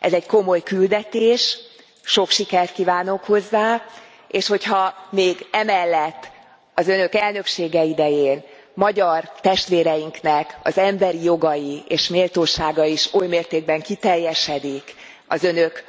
Ez egy komoly küldetés, sok sikert kívánok hozzá, és hogyha még e mellett az Önök elnöksége idején magyar testvéreinknek az emberi jogai és méltósága is oly mértékben kiteljesedik az Önök